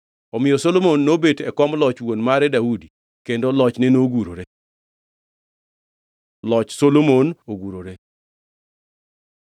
Omiyo Solomon nobet e kom loch wuon mare Daudi, kendo lochne nogurore. Loch Solomon ogurore